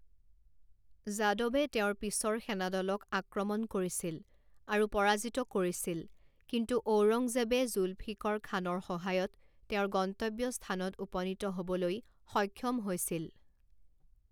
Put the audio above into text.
যাদৱে তেওঁৰ পিছৰ সেনাদলক আক্ৰমণ কৰিছিল আৰু পৰাজিত কৰিছিল, কিন্তু ঔৰংজেবে জুলফিকৰ খানৰ সহায়ত তেওঁৰ গন্তব্যস্থানত উপনীত হ'বলৈ সক্ষম হৈছিল।